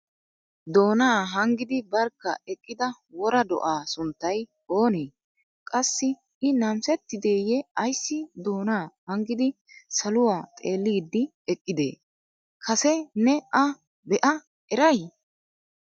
Doona hanggidi barkka eqqida wora do"a sunttay oonee? Qassi I namissetideye ayssi doona hanggidi saluwaa xeeliidi eqqide? Kase ne a be'a eray?